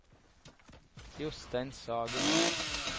Jostein Sagen